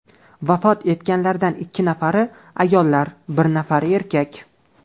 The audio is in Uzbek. Vafot etganlardan ikki nafari ayollar, bir nafari erkak.